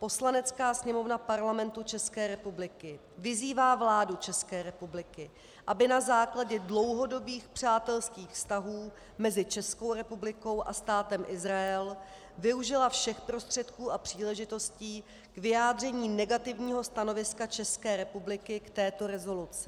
Poslanecká sněmovna Parlamentu České republiky vyzývá vládu České republiky, aby na základě dlouhodobých přátelských vztahů mezi Českou republikou a Státem Izrael využila všech prostředků a příležitostí k vyjádření negativního stanoviska České republiky k této rezoluci.